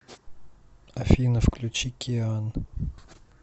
афина включи киан